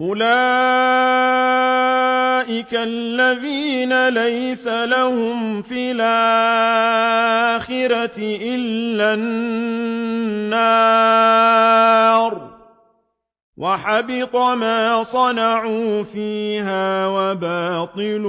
أُولَٰئِكَ الَّذِينَ لَيْسَ لَهُمْ فِي الْآخِرَةِ إِلَّا النَّارُ ۖ وَحَبِطَ مَا صَنَعُوا فِيهَا وَبَاطِلٌ